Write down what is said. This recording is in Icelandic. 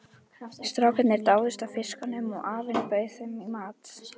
Strákarnir dáðust að fiskunum og afinn bauð þeim í mat.